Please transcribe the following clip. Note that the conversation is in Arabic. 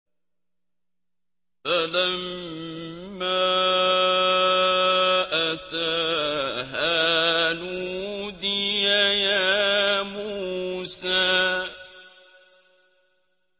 فَلَمَّا أَتَاهَا نُودِيَ يَا مُوسَىٰ